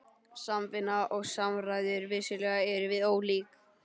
SAMVINNA OG SAMRÆÐUR- vissulega erum við ólík.